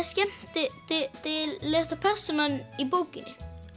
skemmtilegasta persónan í bókinni